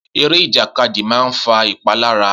Eré ìjàkadì máa ń fa ìpalára.